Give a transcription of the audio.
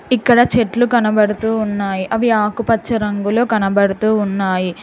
ఇక్కడ చెట్లు కనబడుతూ ఉన్నాయి అవి ఆకుపచ్చ రంగులో కనబడుతూ ఉన్నాయి.